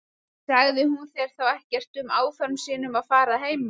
Sagði hún þér þá ekkert um áform sín um að fara að heiman?